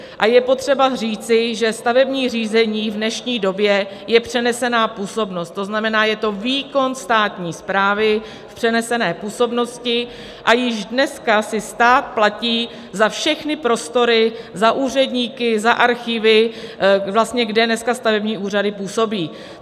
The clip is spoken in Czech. A je potřeba říci, že stavební řízení v dnešní době je přenesená působnost, to znamená, je to výkon státní správy v přenesené působnosti, a již dneska si stát platí za všechny prostory, za úředníky, za archivy, kde dneska stavební úřady působí.